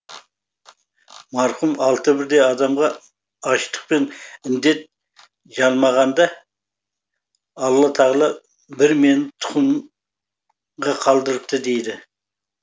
марқұм алты бірдей адамға аштық пен індет жалмағанда алла тағала бір мені тұқымға қалдырыпты дейді